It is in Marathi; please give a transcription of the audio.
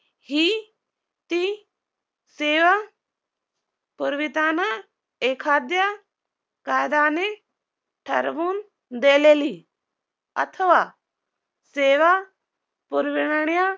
हि ती सेवा पुरविताना एखाद्या कायद्याने ठरवून दिलेली अथवा सेवा पुरविण्या